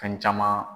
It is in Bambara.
Fɛn caman